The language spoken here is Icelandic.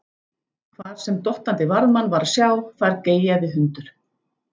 Hvar sem dottandi varðmann var að sjá, þar geyjaði hundur.